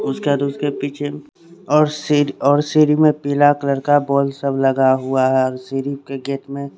उसका तो उसके पीछे और शेर और शेरी में पिला कलर का बोल सब लगा हुआ है और शेरी के गेट में--